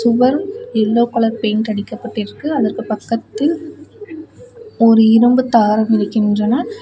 சுவர் yellow colour paint அடிக்கப்பட்டிருக்கு அதற்கு பக்கத்தில் ஒரு இரும்பு தாரம் இருக்கின்றன.